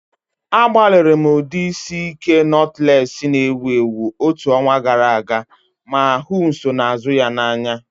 Agbalịrị m ụdị isi ike notulesi na-ewu ewu otu ọnwa gara aga ma hụ nsonaazụ ya n'anya.